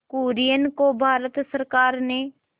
कुरियन को भारत सरकार ने